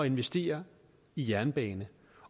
investere i jernbanen